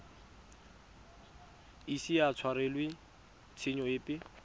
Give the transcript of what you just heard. ise a tshwarelwe tshenyo epe